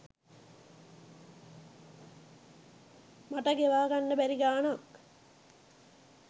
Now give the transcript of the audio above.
මට ගෙවා ගන්න බැරි ගාණක්.